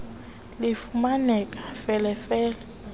lifumaneka fele fele